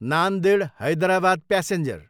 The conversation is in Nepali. नान्देड, हैदराबाद प्यासेन्जर